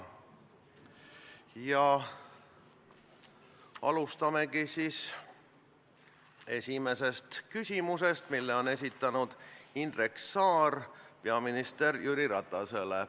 Alustame esimesest küsimusest, mille on esitanud Indrek Saar peaminister Jüri Ratasele.